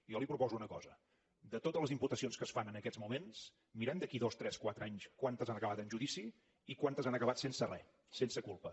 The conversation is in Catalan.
jo li proposo una cosa de totes les imputacions que es fan en aquests moments mirem d’aquí a dos tres quatre anys quantes han acabat en judici i quantes han acabat sense re sense culpa